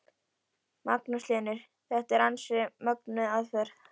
Magnús Hlynur: Þetta er ansi mögnuð aðferð?